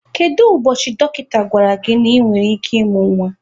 Kedu ụbọchị dọkịta gwara gị na ị nwere ike ịmụ nwa?